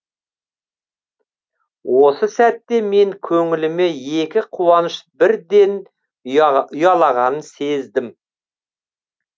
осы сәтте мен көңіліме екі қуаныш бірден ұялағанын сездім